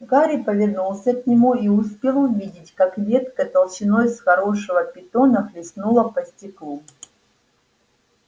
гарри повернулся к нему и успел увидеть как ветка толщиной с хорошего питона хлестнула по стеклу